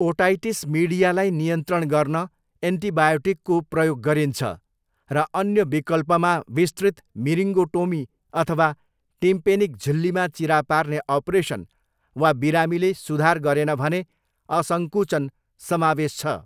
Otitis मिडियालाई नियन्त्रण गर्न एन्टिबायोटिकको प्रयोग गरिन्छ र अन्य विकल्पमा विस्तृत मिरिङ्गोटोमी अथवा टिम्पेनिक झिल्लीमा चिरा पार्ने अपरेसन वा बिरामीले सुधार गरेन भने असङ्कुचन समावेश छ।